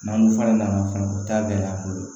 N'an fara n'a kan fana o t'a gɛlɛya an bolo